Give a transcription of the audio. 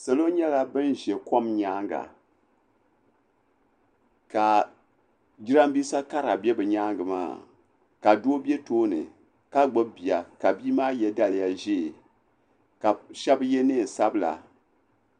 Salo nyɛla ban ʒɛ kom nyaanga ka jirambisa kara be bɛ nyaanga maa ka doo be tooni ka gbibi bia ka bia maa ye daliya ʒee ka sheba ye niɛn'sabla.